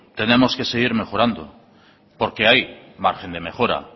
tenemos que seguir mejorando porque hay margen de mejora